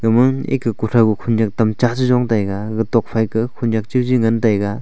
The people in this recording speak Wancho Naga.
ma eka kuthao khunyank tamcha tajon taiga tokphai to khunyank chacha jong taiga.